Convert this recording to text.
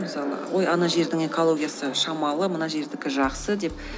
мысалы ой ана жердің экологиясы шамалы мына жердікі жақсы деп